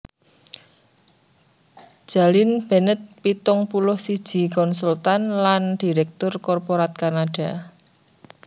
Jalynn Bennett pitung puluh siji konsultan lan diréktur korporat Kanada